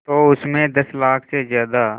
तो उस में दस लाख से ज़्यादा